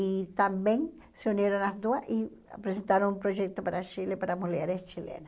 E também se uniram as duas e apresentaram um projeto para Chile para mulheres chilena.